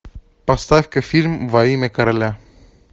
поставь ка фильм во имя короля